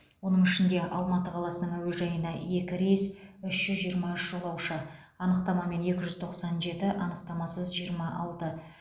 оның ішінде алматы қаласының әуежайына екі рейс үш жүз жиырма үш жолаушы анықтамамен екі жүз тоқсан жеті анықтамасыз жиырма алты